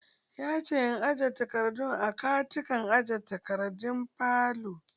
Yace in jera takardun a katakon aje takardun falo.